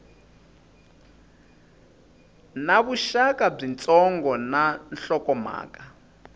na vuxaka byitsongo na nhlokomhaka